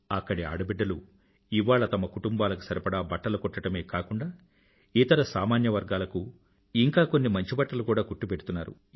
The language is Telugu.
అక్కడి ఆడబిడ్డలు ఇవాళ తమ తమ కుటుంబాలకు సరిపడా బట్టలు కుట్టడమే కాకుండా ఇతర సామాన్యవర్గాలకూ ఇంకా కొన్ని మంచి బట్టలు కూడా కుట్టిపెడుతున్నారు